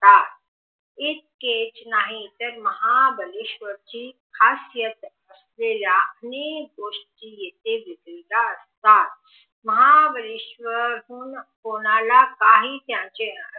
इतकेच नाही तर महाबळेश्वर ची खासियत असलेली मेन गोष्टी येथे मिळतात महाबळेश्वर हुन कोणाला काही द्यायचे नसतात